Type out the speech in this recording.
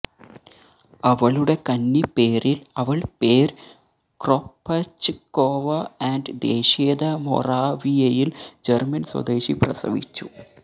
അവളുടെ കന്നി പേരിൽ അവൾ പേര് ക്രൊപഛ്കൊവ ആൻഡ് ദേശീയത മൊറാവിയയിൽ ജർമൻ സ്വദേശി പ്രസവിച്ചു